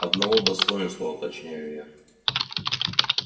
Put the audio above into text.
одного достоинства уточняю я